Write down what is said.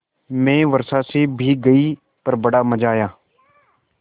मैं वर्षा से भीग गई पर बड़ा मज़ा आया